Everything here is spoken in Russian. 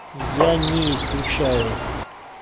я не исключаю